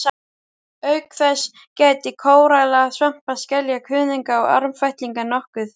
Auk þess gætti kóralla, svampa, skelja, kuðunga og armfætlinga nokkuð.